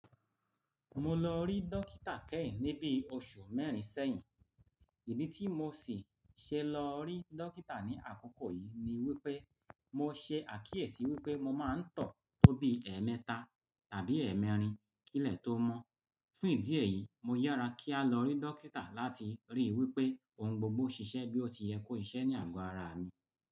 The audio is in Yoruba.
Mo lọ rí dókítà kẹ́yìn ní bí oṣù mẹ́rin sẹ́yìn. Ìdí tí mo sì ṣe lọ rí dókítà ní àkókò yìí ni wípé mo ṣe àkíyèsí wípé mo máa ń tọ̀ tó bí ẹẹ́mẹ́ta tàbí ẹẹ́mẹ́rin kìlẹ́ tó mọ́. Fún ìdí èyí, mo yára kíá lọ rí dókítà láti ríi wípé ohun gbogbo ṣiṣẹ́ bí ó ti yẹ kó ṣiṣẹ́ ní àgò ara mi.